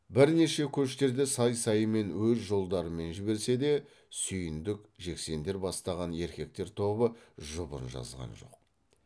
бірнеше көштерде сай сайымен өз жолдарымен жіберсе де сүйіндік жексендер бастаған еркектер тобы жұбын жазған жоқ